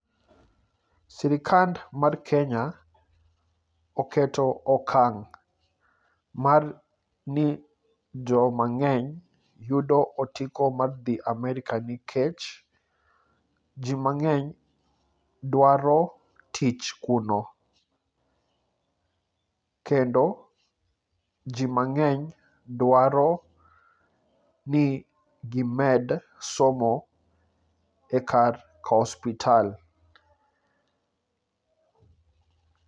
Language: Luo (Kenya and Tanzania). Sirikal mar Kenya oketo okang' mar ni jomang'eny yudo otiko mar dhi Amerka nikech ji mang'eny dwaro tich kuno. Kendo, ji mang'eny dwaro ni gimed somo ekar kospital.